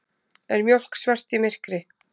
Er mjólk svört í myrkri?